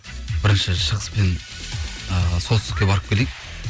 бірінші шығыс пен ііі солтүстікке барып келейік